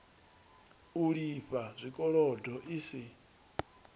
u lifha zwikolodo i si